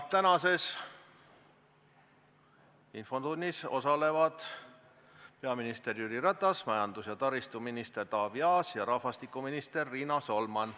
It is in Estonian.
Tänases infotunnis osalevad peaminister Jüri Ratas, majandus- ja taristuminister Taavi Aas ning rahvastikuminister Riina Solman.